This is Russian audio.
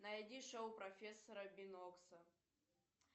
найди шоу профессора бинокса